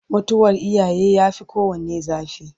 mutuwar iyaye ya Fi kowanne zafi